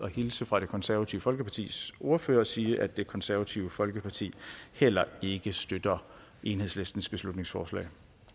hilse fra det konservative folkepartis ordfører og sige at det konservative folkeparti heller ikke støtter enhedslistens beslutningsforslag